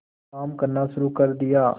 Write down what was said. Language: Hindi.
काम करना शुरू कर दिया